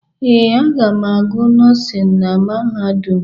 Ee, aga m agụ nọọsịn na mahadum.